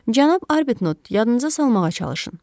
Cənab Arbtnott, yadınıza salmağa çalışın.